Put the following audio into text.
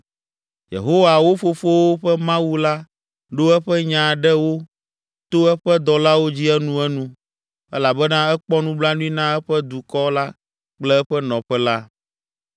Yehowa, wo fofowo ƒe Mawu la ɖo eƒe nya ɖe wo to eƒe dɔlawo dzi enuenu elabena ekpɔ nublanui na eƒe dukɔ la kple eƒe nɔƒe la.